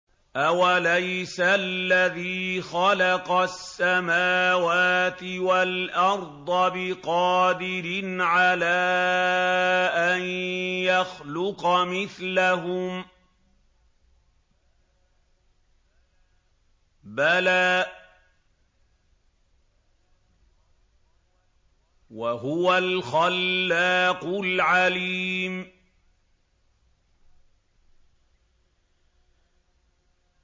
أَوَلَيْسَ الَّذِي خَلَقَ السَّمَاوَاتِ وَالْأَرْضَ بِقَادِرٍ عَلَىٰ أَن يَخْلُقَ مِثْلَهُم ۚ بَلَىٰ وَهُوَ الْخَلَّاقُ الْعَلِيمُ